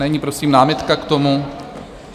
Není prosím námitka k tomu?